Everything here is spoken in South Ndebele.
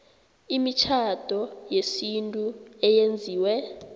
imitjhado yesintu eyenziwe